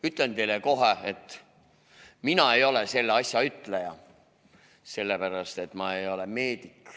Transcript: Ütlen teile kohe, et mina ei ole selles asjas mingi ütleja, sellepärast et ma ei ole meedik.